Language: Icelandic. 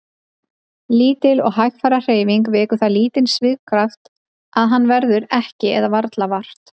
Lítil og hægfara hreyfing vekur það lítinn svigkraft að hans verður ekki eða varla vart.